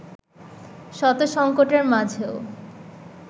শত সংকটের মাঝেও